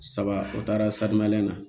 Saba o taara na